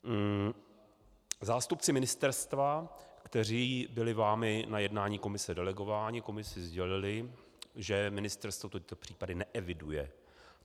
Zástupci ministerstva, kteří byli vámi na jednání komise delegováni, komisi sdělili, že ministerstvo tyto případy neeviduje.